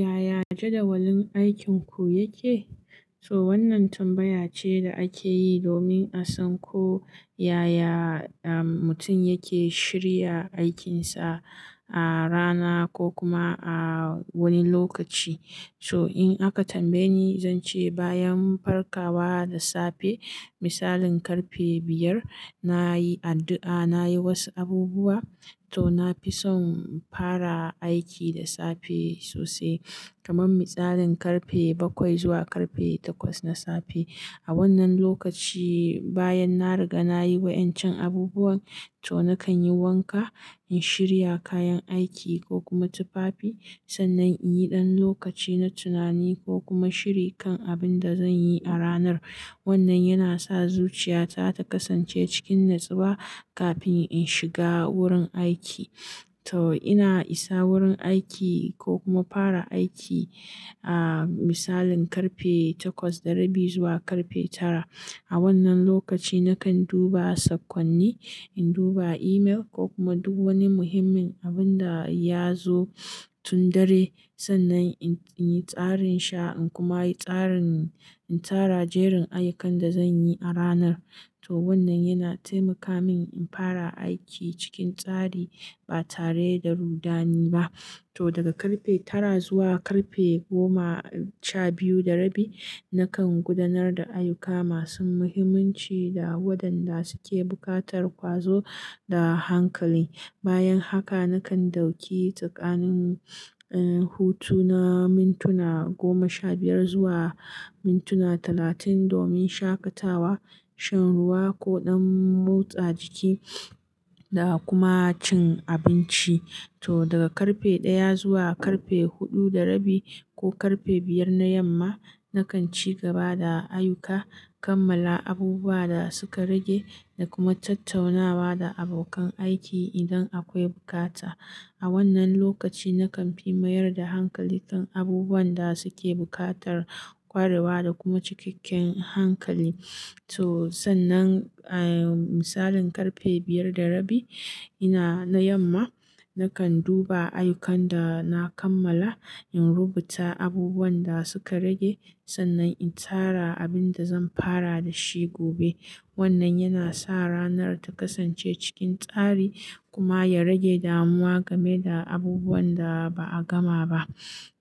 Yaya jadawalin aikinku yake? Toh wannan tambaya ce da ake yi domin a san ko yaya, mutum yake shirya aikinsa ah, rana ko kuma ah wani lokaci. Toh in aka tambaye ni, zan ce bayan farkawa da safe, misalin karfe biyar, na yi addu'a, na yi wasu abubuwa. To na fi son fara aiki da safe sosai. Kaman misalin karfe bakwai zuwa karfe takwas na safe. A wannan lokaci bayan na riga na yi wa'incan abubuwan, toh nakan yi wanka, in shirya kayan aiki ko kuma tufafi sannan in yi ɗan lokaci na tunani ko kuma shiri kan abin da zan yi a ranar. Wannan yana sa zuciyata ta kasance cikin natsuwa kafin in shiga wurin aiki. To ina isa wurin aiki ko kuma fara aiki, ah, misalin karfe takwas da rabi zuwa karfe tara. A wannan lokaci nakan duba sakonni, in duba email ko kuma duk wani muhimmin abun da ya zo tun dare sannan in yi tsarin sha in kuma yi tsarin, in tara jerin ayyukan da zan yi a ranar. To wannan yana taimaka min in fara aiki cikin tsari ba tare da rudani ba. To daga karfe tara zuwa karfe goma sha biyu da rabi, nakan gudanar da ayyuka masu muhimmanci da waɗanda suke buƙatar ƙwazo da hankali. Bayan haka nakan dauki tsakanin, eh, hutuna, mintuna goma sha biyar zuwa mintuna talatin domin shakatawa, shan ruwa ko ɗan motsa jiki da kuma cin abinci. To daga karfe ɗaya zuwa karfe huɗu da rabi ko karfe biyar na yamma, nakan ci gaba da ayyuka, kammala abubuwa da suka rage da kuma tattaunawa da abokan aiki idan akwai bukata. A wannan lokaci nakan fi mayar da hankali kan abubuwan da suke buƙatar kwarewa da kuma cikakken hankali. Toh sannan, eh, misalin karfe biyar da rabi, ina na yamma, nakan duba ayyukan da na kammala, in rubuta abubuwan da suka rage sannan in tara abin da zan fara da shi gobe. Wannan yana sa ranar ta kasance cikin tsari kuma ya rage damuwa game da abubuwan da ba a gama ba.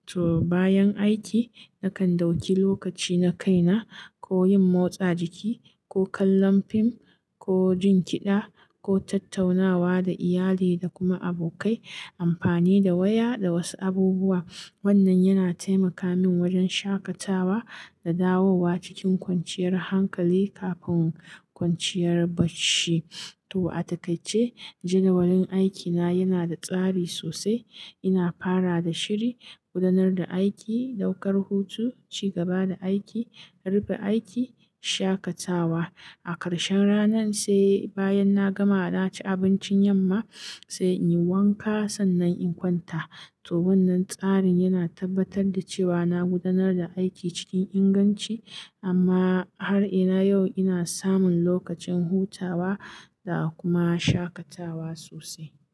To bayan aiki nakan dauki lokaci na kaina ko yin motsa jiki ko kallon fim ko jin kiɗa ko tattaunawa da iyali da kuma abokai amfani da waya da wasu abubuwa. Wannan yana taimaka min wajen shakatawa da dawowa cikin kwanciyar hankali kafin kwanciyar bacci. To a takai ce jadawalin aikina yana da tsari sosai. Ina fara da shiri, gudanar da aiki, daukar hutu, ci gaba da aiki, rufe aiki, shakatawa. A ƙarshen ranan sai, bayan na gama na ci abincin yamma sai in yi wanka sannan in kwanta. To wannan tsarin yana tabbatar da cewa na gudanar da aiki cikin inganci amma har ina yau ina samun lokacin hutawa da kuma shakatawa sosai.